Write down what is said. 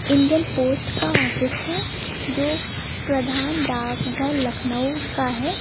Indian post का office है जो प्रधान डाकघर लखनऊ का है।